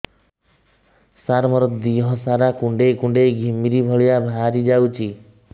ସାର ମୋର ଦିହ ସାରା କୁଣ୍ଡେଇ କୁଣ୍ଡେଇ ଘିମିରି ଭଳିଆ ବାହାରି ଯାଉଛି